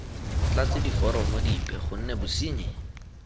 tlatse diforomo dipe gonne bosenyi